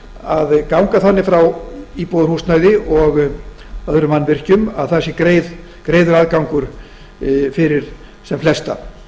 að ganga þannig frá íbúðarhúsnæði og öðrum mannvirkjum að greiður aðgangur sé fyrir sem flesta